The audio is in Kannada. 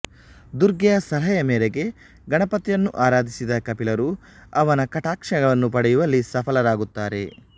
ದುರ್ಗೆಯ ಸಲಹೆಯ ಮೇರೆಗೆ ಗಣಪತಿಯನ್ನು ಆರಾಧಿಸಿದ ಕಪಿಲರು ಅವನ ಕಟಾಕ್ಷವನ್ನು ಪಡೆಯುವಲ್ಲಿ ಸಫಲರಾಗುತ್ತಾರೆ